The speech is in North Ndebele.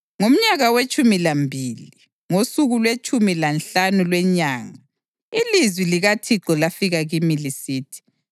Ngomnyaka wetshumi lambili, ngosuku lwetshumi lanhlanu lwenyanga, ilizwi likaThixo lafika kimi lisithi: